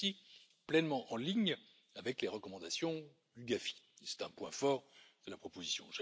Elle est aussi pleinement en ligne avec les recommandations du GAFI et c'est un point fort de la proposition.